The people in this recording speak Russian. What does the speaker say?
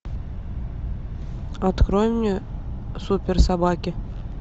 открой мне суперсобаки